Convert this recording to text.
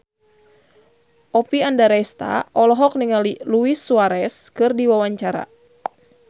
Oppie Andaresta olohok ningali Luis Suarez keur diwawancara